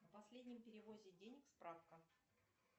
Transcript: о последнем переводе денег справка